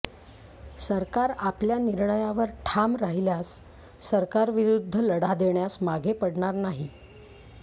सरकार आपल्या निर्णयावर ठाम राहिल्यास सरकार विरुद्ध लढा देण्यास मागे पडणार नाही